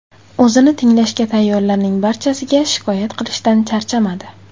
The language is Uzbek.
O‘zini tinglashga tayyorlarning barchasiga shikoyat qilishdan charchamadi.